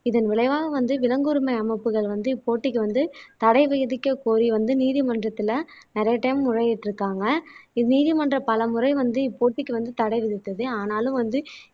இதன் விளைவாக வந்து விலங்குரிமை அமைப்புகள் வந்து இப்போ போட்டிக்கு வந்து தடை விதிக்கக் கோரி வந்து நீதிமன்றத்திலே நிறைய டைம் முறையிட்டு இருக்காங்க இது நீதிமன்றம் பலமுறை வந்து இப்போட்டிக்கு வந்து தட விதித்தது ஆனாலும் வந்து